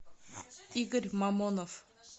игорь мамонов